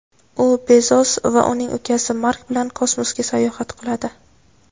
u Bezos va uning ukasi Mark bilan kosmosga sayohat qiladi.